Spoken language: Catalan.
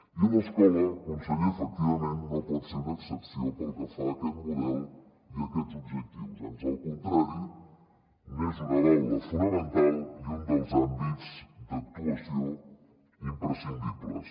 i l’escola conseller efectivament no pot ser una excepció pel que fa a aquest model i a aquests objectius ans al contrari n’és una baula fonamental i un dels àmbits d’actuació imprescindibles